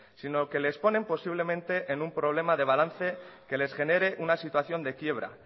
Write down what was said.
sino que les ponen posiblemente en un problema de balance que les genera una situación de quiebra